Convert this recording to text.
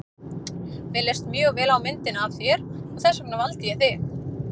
Mér leist mjög vel á myndina af þér og þess vegna valdi ég þig.